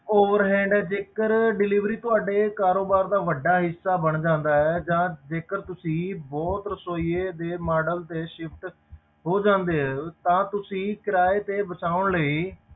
Overhand ਜੇਕਰ delivery ਤੁਹਾਡੇ ਕਾਰੋਬਾਰ ਦਾ ਵੱਡਾ ਹਿੱਸਾ ਬਣ ਜਾਂਦਾ ਹੈ ਜਾਂ ਜੇਕਰ ਤੁਸੀਂ ਬਹੁਤ ਰਸੌਈਏ ਦੇ model ਤੇ shift ਹੋ ਜਾਂਦੇ ਹੈ ਤਾਂ ਤੁਸੀਂ ਕਿਰਾਏ ਤੇ ਵਸਾਉਣ ਲਈ,